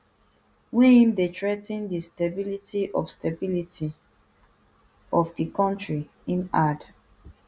wey im dey threa ten di stability of stability of di kontri im add